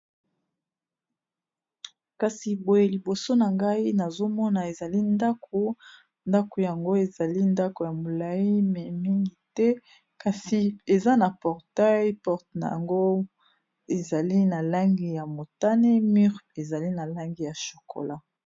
Kasi boye liboso na ngai nazomona ezali ndako, ndako yango ezali ndako ya molayi mais mingi te kasi eza na portail, porte na yango ezali na langi ya motane mur ezali na langi ya chokola.